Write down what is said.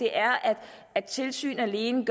er at at tilsyn alene